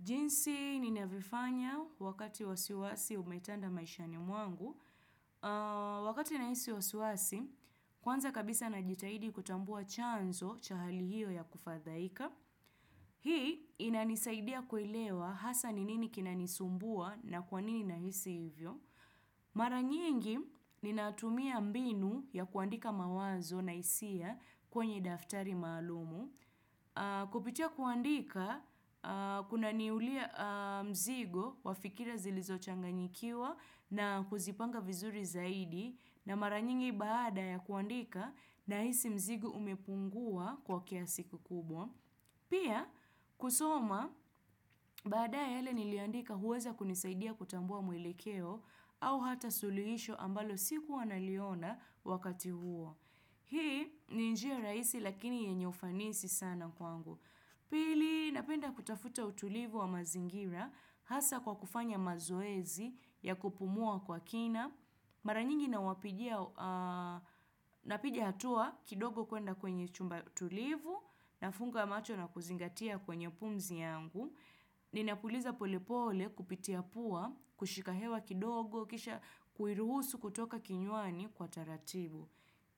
Jinsi ninavyofanya wakati wasiwasi umetanda maishani mwangu. Wakati ninahisi wasiwasi, kwanza kabisa najitahidi kutambua chanzo cha hali hiyo ya kufadhaika. Hii inanisaidia kuelewa hasa ninini kinanisumbua na kwanini nahisi hivyo. Mara nyingi ninatumia mbinu ya kuandika mawazo na hisia kwenye daftari maalumu. Kupitia kuandika, kuna niulia mzigo wafikira zilizo changanyikiwa na kuzipanga vizuri zaidi na maranyingi baada ya kuandika ninahisi mzigo umepungua kwa kiasi ki kubwa Pia, kusoma, baadaye yale niliyoandika huweza kunisaidia kutambua mwelekeo au hata suluhisho ambalo sikuwa na liona wakati huo Hii ni njia rahisi lakini yenye ufanisi sana kwangu. Pili napenda kutafuta utulivu wa mazingira hasa kwa kufanya mazoezi ya kupumua kwa kina. Mara nyingi napiga hatua kidogo kuenda kwenye chumba tulivu na funga macho na kuzingatia kwenye pumzi yangu. Ninapuliza pole pole kupitia pua, kushikahewa kidogo, kisha kuiruhusu kutoka kinywani kwa taratibu.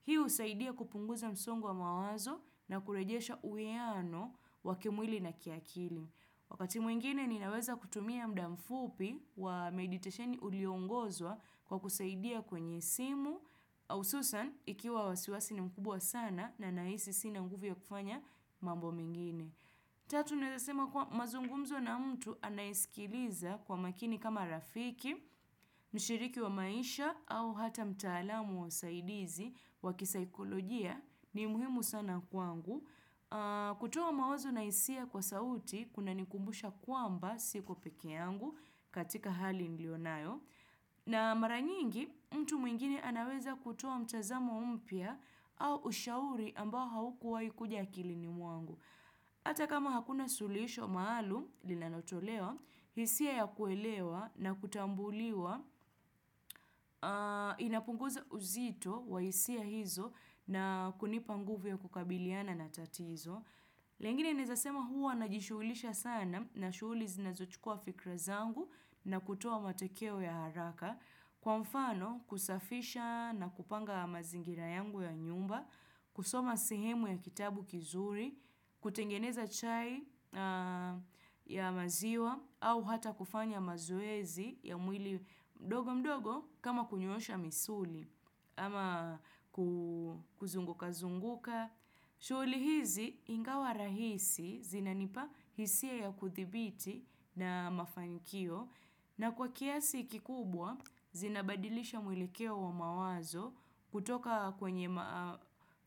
Hii husaidia kupunguza msongo wa mawazo na kurejesha uwiano wakimwili na kiakili. Wakati mwingine ninaweza kutumia mudamfupi wa meditasheni uliongozwa kwa kusaidia kwenye simu au ususani ikiwa wasiwasi ni mkubwa sana na nahisi sina nguvu ya kufanya mambo mengine. Tatu naweza sema kuwa mazungumzo na mtu anaesikiliza kwa makini kama rafiki, mshiriki wa maisha au hata mtaalamu wa usaidizi wa kisaikolojia ni muhimu sana kwangu. Kutoa mawazo na hisia kwa sauti kuna nikumbusha kwamba siko peke yangu katika hali nilionayo. Na maranyingi mtu mwingine anaweza kutoa mtazamo mpya au ushauri ambao haukuwai kuja akilini mwangu. Hata kama hakuna suluhisho maalumu linalotolewa, hisia ya kuelewa na kutambuliwa inapunguza uzito wa hisia hizo na kunipa nguvu ya kukabiliana na tatizo. Lengine naweza sema huwa na jishuhulisha sana na shughuli zinazochukua fikra zangu na kutoa matokeo ya haraka kwa mfano kusafisha na kupanga mazingira yangu ya nyumba, kusoma sehemu ya kitabu kizuri, kutengeneza chai ya maziwa au hata kufanya mazoezi ya mwili mdogo mdogo kama kunyoosha misuli ama kuzunguka zunguka. Shughuli hizi ingawa rahisi zinanipa hisia ya kuthibiti na mafankio na kwa kiasi kikubwa zinabadilisha mwelekeo wa mawazo kutoka kwenye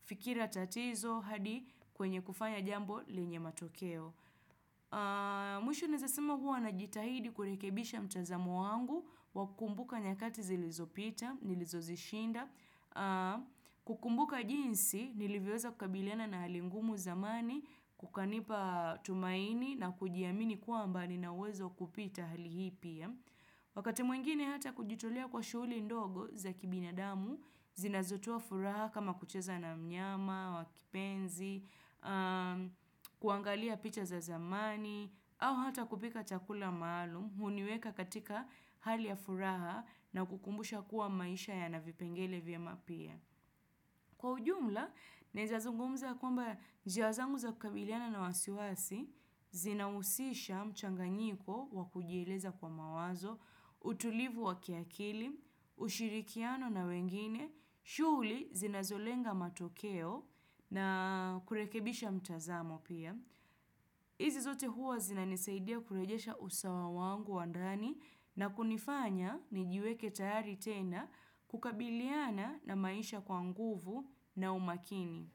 fikira tatizo hadi kwenye kufanya jambo lenye matokeo. Mwisho naweza sema huwa na jitahidi kurekebisha mtazamo wangu Wakukumbuka nyakati zilizopita, nilizozishinda kukumbuka jinsi, nilivyoweza kukabiliana na halingumu zamani Kukanipa tumaini na kujiamini kwamba nina uwezo wa kupita hali hii pia Wakati mwingine hata kujitolea kwa shughuli ndogo za kibinadamu zinazotoa furaha kama kucheza na mnyama, wakipenzi kuangalia picha za zamani au hata kupika chakula maalumu huniweka katika hali ya furaha na kukumbusha kuwa maisha ya navipengele vyema pia Kwa ujumla, naweza zungumza kwamba njia zangu za kukabiliana na wasiwasi zinahusisha mchanganyiko wakujieleza kwa mawazo utulivu wa kiakili ushirikiano na wengine shughuli zinazolenga matokeo na kurekebisha mtazamo pia. Hizi zote huwa zina nisaidia kurejesha usawa wangu wa ndani na kunifanya nijiweke tayari tena kukabiliana na maisha kwanguvu na umakini.